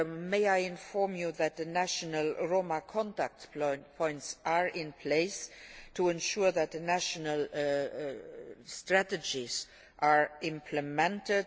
May I inform you that the national Roma Contact Points are in place to ensure that national strategies are implemented.